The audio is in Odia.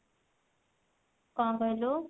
କଣ କହିଲୁ?